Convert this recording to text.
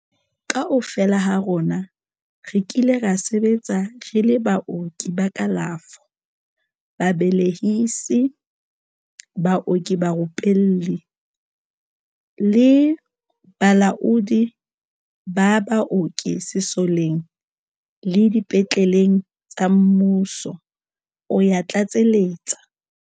"Kaofela ha rona re kile ra sebetsa re le baoki ba kalafo, babe lehisi, baoki barupelli le balaodi ba baoki sesoleng le dipetle leng tsa mmuso," o ya tlatseletsa.